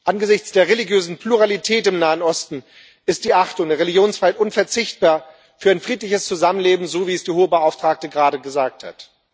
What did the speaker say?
Angesichts der religiösen Pluralität im Nahen Osten ist die Achtung der Religionsfreiheit unverzichtbar für ein friedliches Zusammenleben, so wie es die Hohe Beauftragte gerade gesagt hat.